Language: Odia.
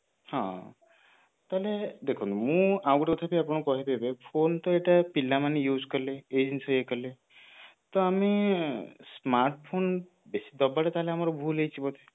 ହଁ ତାହେଲେ ଦେଖନ୍ତୁ ମୁଁ ଆଉ ଗୋଟେ କଥା ବି ଆପଣଙ୍କୁ କହିବି ଏବେ phone ତ ଏଇଟା ପିଲା ମାନେ use କଲେ ଏଇ ଜିନିଷ ଇଏ କଲେ ତ ଆମେ smart phone ଦବାଟା ତାହେଲେ ଆମର ଭୁଲ ହେଇଯିବ